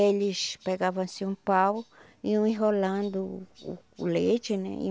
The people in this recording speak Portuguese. Eles pegavam assim um pau, iam enrolando o o leite, né?